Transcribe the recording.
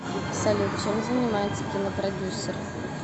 салют чем занимается кинопродюсер